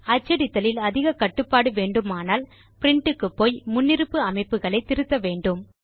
அச்சடித்தலில் அதிக கட்டுப்பாடு வேண்டுமானால் பிரின்ட் க்குப்போய் முன்னிருப்பு அமைப்புகளை திருத்த வேண்டும்